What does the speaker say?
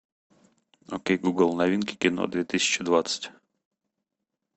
окей гугл новинки кино две тысячи двадцать